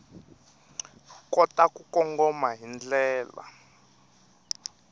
kota ku kongoma hi ndlela